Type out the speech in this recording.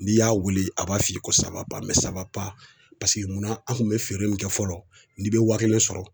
N'i y'a wele a b'a f'i ye ko Paseke mun na an kun be feere mun kɛ fɔlɔ n'i bɛ wa kelen sɔrɔ